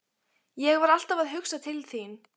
Ég var alltaf að hugsa til þín.